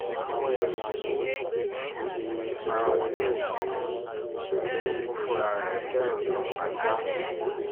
àwọn èèyàn yìí kò bi ara wọn léèrè pé ṣé tinubu fúnra ẹ̀ fẹ́ràn yorùbá sá